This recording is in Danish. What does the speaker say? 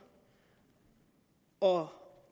og